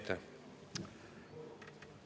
Aitäh!